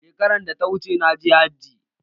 Shekaran da ta wuce, na je hajji.